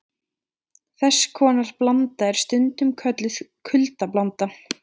Þess konar blanda er stundum kölluð kuldablanda.